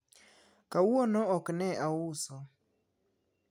kawuono ok ne auso